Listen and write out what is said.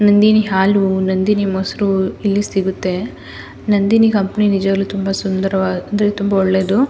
ನಂದಿನಿ ಹಾಲು ನಂದಿನಿ ಮೊಸರು ಇಲ್ಲಿ ಸಿಗುತ್ತೆ ನಂದಿನಿ ಕಂಪನಿ ನಿಜವಾಗಲು ತುಂಬಾ ಸುಂದರ್ ಅಂದ್ರೆ ತುಂಬಾ ಒಳ್ಳೇದು.